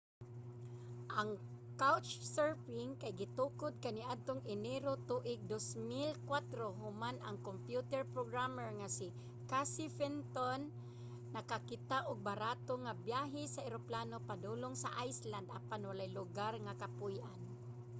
ang couchsurfing kay gitukod kaniadtong enero tuig 2004 human ang kompyuter programmer nga si casey fenton nakakita og barato nga biyahe sa eroplano padulong sa iceland apan walay lugar nga kapuy-an